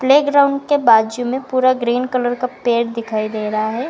Playground के बाजू में पूरा ग्रीन कलर का पेड़ दिखाई दे रहा है।